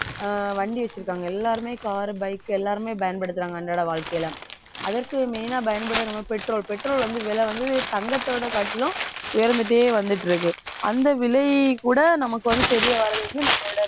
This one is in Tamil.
ஆஹ் வண்டி வச்சிருக்காங்க எல்லாருமே car bike எல்லாருமே பயன்படுத்துறாங்க. அன்றாட வாழ்க்கையில அதற்கு main ஆ பயன்படுது நம்ம petrol petrol வந்து விலை வந்து தங்கத்தை விட காட்டிலும் உயர்ந்துட்டே வந்துட்டிருக்கு அந்த விலையை கூட நமக்கு வந்து தெரிய வர்றது வந்து நம்மளோட